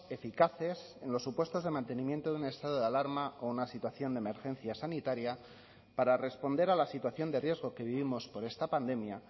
eficaces en los supuestos de mantenimiento de un estado de alarma o una situación de emergencia sanitaria para responder a la situación de riesgo que vivimos por esta pandemia